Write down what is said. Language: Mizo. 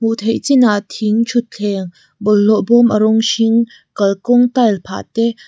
hmuh theih chinah thing thuthleng bawlhhlawh bâwm a rawng hring kalkawng tile phah te--